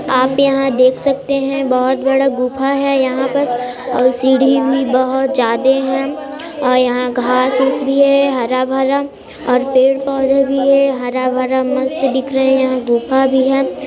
आप यहाँ देख सकते हैं बहुत बड़ा गुफा है यहाँ पर सीड़ी भी बहुत ज्यादे है और यहां घास-फूस भी है हरा-भरा और पेड़-पौधे भी है हरा-भरा मस्त दिख रहे हैं यहाँ गुफा भी है।